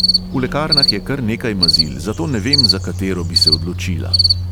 V lekarnah je kar nekaj mazil, zato ne vem, za katero bi se odločila.